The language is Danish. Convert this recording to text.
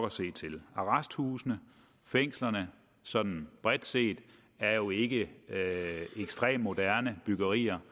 at se til arresthusene og fængslerne sådan bredt set er jo ikke ekstremt moderne byggerier